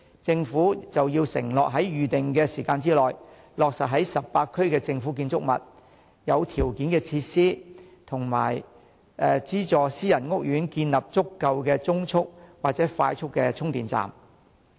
政府應要承諾在預定時間內，落實在18區的政府建築物、合乎條件的設施及受資助的私人屋苑，建立足夠的中速或快速充電站。